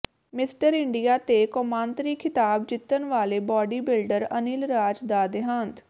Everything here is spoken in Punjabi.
ਮਿਸਟਰ ਇੰਡੀਆ ਤੇ ਕੌਮਾਂਤਰੀ ਖਿਤਾਬ ਜਿੱਤਣ ਵਾਲੇ ਬਾਡੀ ਬਿਲਡਰ ਅਨਿਲ ਰਾਜ ਦਾ ਦੇਹਾਂਤ